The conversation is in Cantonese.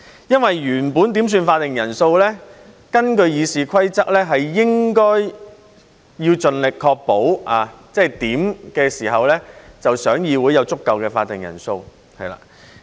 原本在點算法定人數時，根據《議事規則》，應該盡力確保在點算時議會內有足夠的法定人數。